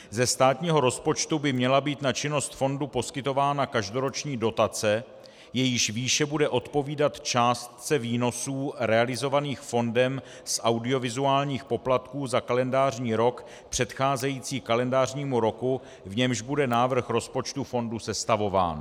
Ze státního rozpočtu by měla být na činnost fondu poskytována každoroční dotace, jejíž výše bude odpovídat částce výnosů realizovaných fondem z audiovizuálních poplatků za kalendářní rok předcházející kalendářnímu roku, v němž bude návrh rozpočtu fondu sestavován.